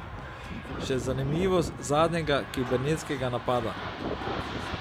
Še zanimivost zadnjega kibernetskega napada.